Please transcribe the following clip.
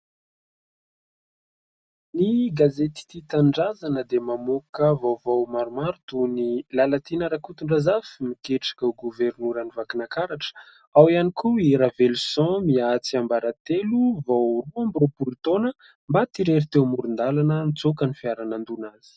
Ny gazety tia tanindrazana dia mamoaka vaovao maromaro toy ny "Lalatiana Rakotondrazafy miketrika ho governoran'i Vakinakaratra", ao ihany koa "I raveloson Mia tsiambaratelo vao roa amby roapolo taona maty irery teo amoron-dalana nitsoaka ny fiara nandona azy".